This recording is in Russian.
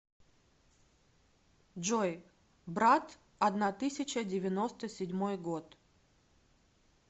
джой брат одна тысяча девяносто седьмой год